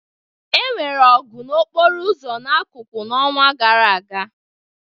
Enwere ọgụ n'okporo ụzọ na akuku n'ọnwa gara aga